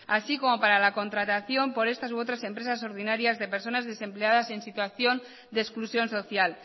así como para la contratación por estas u otras empresas ordinarias de personas desempleadas y en situación de exclusión social